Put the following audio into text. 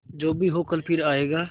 जो भी हो कल फिर आएगा